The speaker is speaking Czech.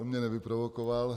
On mě nevyprovokoval.